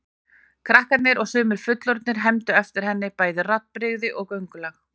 Krakkar og sumir fullorðnir hermdu eftir henni, bæði raddbrigði og göngulag.